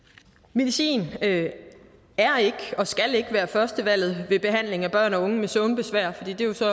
medicin er og skal ikke være førstevalget ved behandling af børn og unge med søvnbesvær og det er jo så